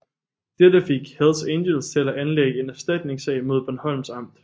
Dette fik Hells Angels til at anlægge en erstatningssag mod Bornholms Amt